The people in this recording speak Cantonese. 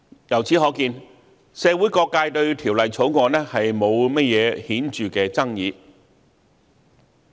由此可見，社會各界對《條例草案》沒有甚麼顯著的爭議。